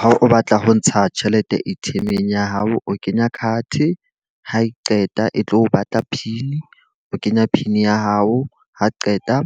Ha o batla ho ntsha tjhelete A_T_M-eng ya hao, o kenya card. Ha e qeta e tlo o batla pin, o kenya pin ya hao. Ha qeta